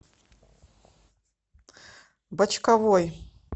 бочковой